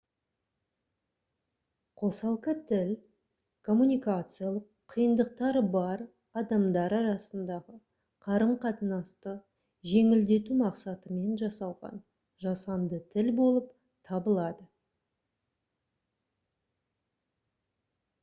қосалқы тіл коммуникациялық қиындықтары бар адамдар арасындағы қарым-қатынасты жеңілдету мақсатымен жасалған жасанды тіл болып табылады